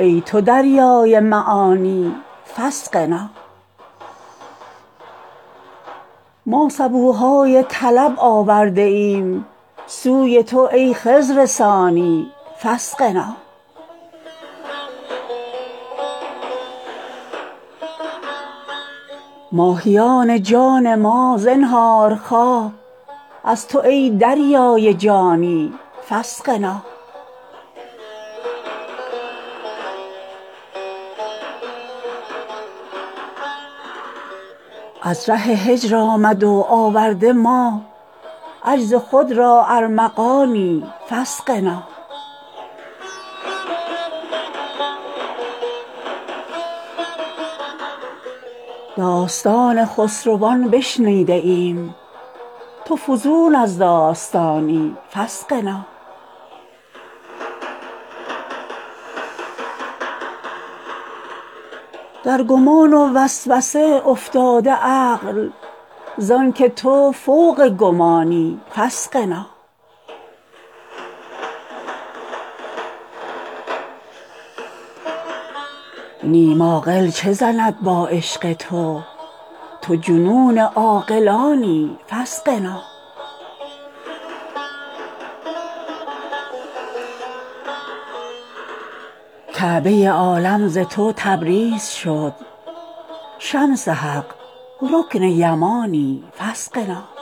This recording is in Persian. ای تو دریای معانی فاسقنا ما سبوهای طلب آورده ایم سوی تو ای خضر ثانی فاسقنا ماهیان جان ما زنهارخواه از تو ای دریای جانی فاسقنا از ره هجر آمده و آورده ما عجز خود را ارمغانی فاسقنا داستان خسروان بشنیده ایم تو فزون از داستانی فاسقنا در گمان و وسوسه افتاده عقل زانک تو فوق گمانی فاسقنا نیم عاقل چه زند با عشق تو تو جنون عاقلانی فاسقنا کعبه عالم ز تو تبریز شد شمس حق رکن یمانی فاسقنا